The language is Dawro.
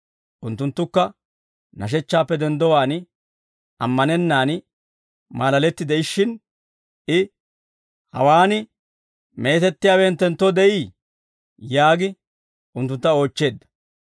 Unttunttukka nashechchaappe denddowaan, ammanennaan maalaletti de'ishshin I, «Hawaan meetettiyaawe hinttenttoo de'ii?» yaagi unttuntta oochcheedda.